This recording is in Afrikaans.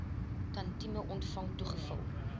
tantième ontvang toegeval